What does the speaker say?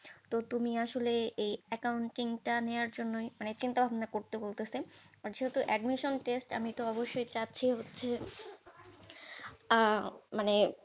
তো তুমি আসলে এই accounting টা নেওয়ার জন্যই মানে চিন্তা ভাবনা করতে বলতেছে। আর যেহেতু admission test আমিতো অবশই চাচ্ছি হচ্ছে আহ মানে